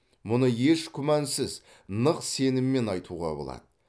мұны еш күмәнсіз нық сеніммен айтуға болады